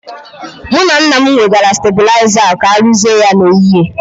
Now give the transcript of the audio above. Mụ na nna m wegara stabụlaiza ahu ka aruzie ya n'ehihie.